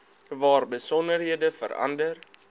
waar besonderhede verander